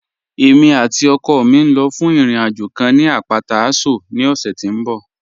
Ẹ̀mi àti ọkọ mi ń lọ́ fún ìrìn-àjọ̀ kàn ni apátà Àṣọ̀ ní ọ̀ṣẹ̀ tí n bọ̀